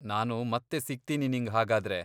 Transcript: ನಾನು ಮತ್ತೆ ಸಿಗ್ತೀನಿ ನಿಂಗ್ ಹಾಗಾದ್ರೆ.